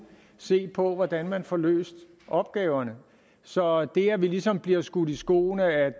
se på hvordan man får løst opgaverne så det at vi ligesom bliver skudt i skoene at